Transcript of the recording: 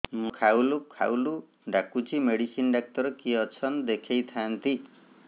ମୁଣ୍ଡ ଖାଉଲ୍ ଖାଉଲ୍ ଡାକୁଚି ମେଡିସିନ ଡାକ୍ତର କିଏ ଅଛନ୍ ଦେଖେଇ ଥାନ୍ତି